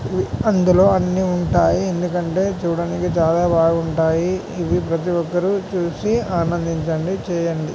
అందులో అన్ని ఉంటాయి. ఎందుకంటే చూడడానికి చాలా బాగుంటాయి ఇవి ప్రతి ఒక్కరు చూసి ఆనందించండి చేయండి.